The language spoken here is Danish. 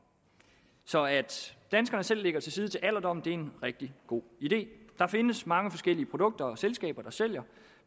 så at danskerne selv lægger til side til alderdommen er en rigtig god idé der findes mange forskellige produkter og selskaber der sælger